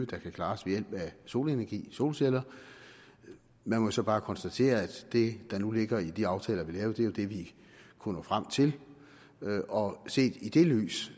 kan klares ved hjælp af solenergi solceller man må så bare konstatere at det der nu ligger i de aftaler vi lavede jo er det vi kunne nå frem til og set i det lys